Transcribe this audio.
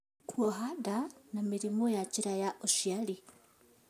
Kuoha nda, na mĩrimũ ya njĩra ya ũciari